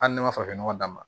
Hali ne ma farafin nɔgɔ d'a ma